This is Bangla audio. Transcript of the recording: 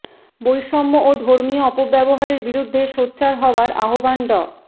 বৈষম্য ও ধর্মীয় অপব্যবহারের বিরুদ্ধে সোচ্চার হওয়ার আহ্বান ড